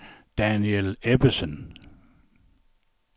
Daniel Ebbesen